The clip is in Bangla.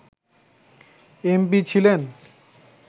এমপি ছিলেন